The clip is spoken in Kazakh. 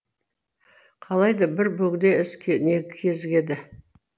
қалайда бір бөгде із кезігеді